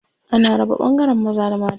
Ana raba ɓangaren maza da mata.